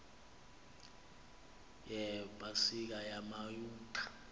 yepa sika yamayuda